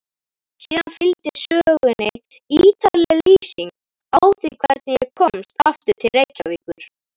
Síðan fylgdi sögunni ítarleg lýsing á því hvernig ég komst aftur til Reykjavíkur.